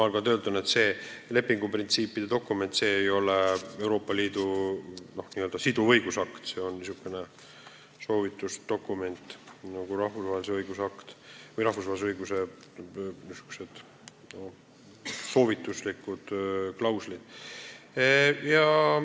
Samas see lepinguprintsiipide dokument ei ole Euroopa Liidu siduv õigusakt, see on niisugune soovituslik dokument, nii nagu on ka rahvusvahelise õiguse aktide soovituslikud klauslid.